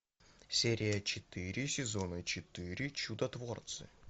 серия четыре сезона четыре чудотворцы